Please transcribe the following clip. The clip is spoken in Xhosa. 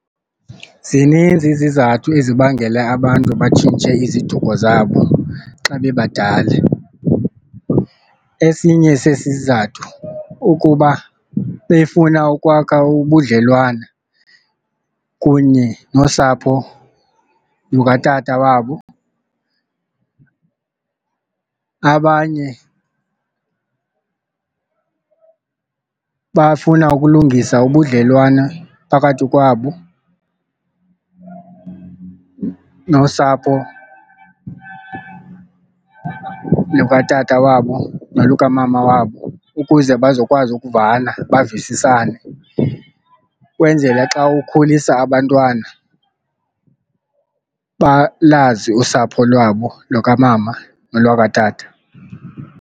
Zininzi izizathu ezibangela abantu batshintshe iziduko zabo xa bebadala, esinye sesizathu ukuba befuna ukwakha ubudlelwane kunye nosapho lukatata wabo. Abanye bafuna ukulungisa ubudlelwane phakathi kwabo nosapho lukatata wabo nolukamama wabo ukuze bazokwazi ukuvana bavisisane kwenzele xa ukhulisa abantwana balazi usapho lwabo lokamama nolwakatata.